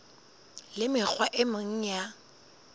le mekgwa e meng ya